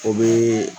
O bee